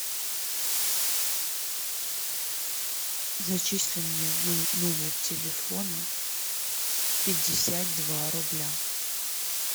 зачисли мне на номер телефона пятьдесят два рубля